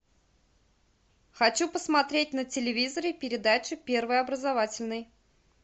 хочу посмотреть на телевизоре передачу первый образовательный